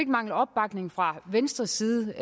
mangle opbakning fra venstres side